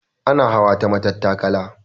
Ana hawa ta matattakala.